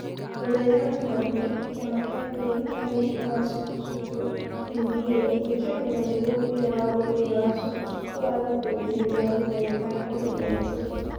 Mũthenya wa jumaine, kĩama kĩa bũrũri kĩa mũbira wa sukusuku (NBA) nĩ kĩarũgamirie mũbira wa mũbira wa sukusuku wa gĩkundi nĩ ũndũ wa mĩtangĩko ya COVID-19.